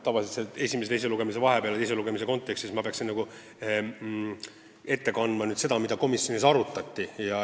Tavaliselt peab teise lugemise kontekstis ette kandma, mis on toimunud esimese ja teise lugemise vahepeal, mida komisjonis arutati.